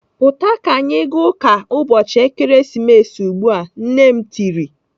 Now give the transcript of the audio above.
"Pụta ka anyị ga ụka ụbọchị Ekeresimesi ugbu a!" Nne m tirii.